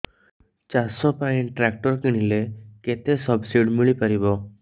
ଚାଷ ପାଇଁ ଟ୍ରାକ୍ଟର କିଣିଲେ କେତେ ସବ୍ସିଡି ମିଳିପାରିବ